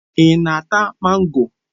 Ị na-ata mango?